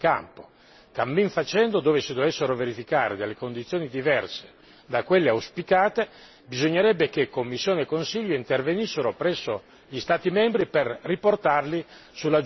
cammin facendo, dove si dovessero verificare delle condizioni diverse da quelle auspicate, bisognerebbe che Commissione e Consiglio intervenissero presso gli Stati membri per riportarli sulla giusta via.